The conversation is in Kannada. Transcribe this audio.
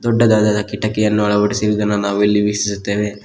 ದೊಡ್ಡದಾದ ಕಿಟಕಿಯನ್ನು ಅಳವಡಿಸಿರುವುದನ್ನು ನಾವು ಇಲ್ಲಿ ವೀಕ್ಷಿಸುತ್ತೇವೆ.